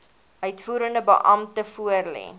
uitvoerende beampte voorlê